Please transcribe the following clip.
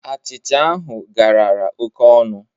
Achịcha ahụ garara oke ọnụ.